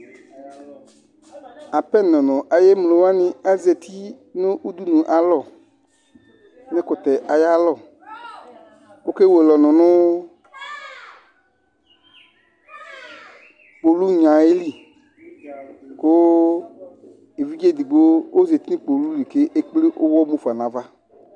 Apenɔ ŋu ayʋ emlowaŋi azɛti ŋu ʋɖʋnu ayʋ alɔ ŋu ɛkʋtɛ ayʋ alɔ Ɔkewele ɔnu ŋu uɣlinaɛ aɣili kʋ evidze ɛɖigbo ɔzɛti ŋu kpoluli kʋ ekple uwɔ mufa ŋu ava